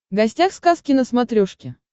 гостях сказки на смотрешке